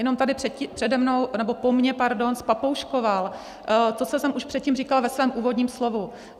Jenom tady přede mnou nebo po mně, pardon, zpapouškoval to, co jsem už předtím říkala ve svém úvodním slovu.